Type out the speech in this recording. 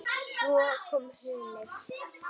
Svo kom hrunið.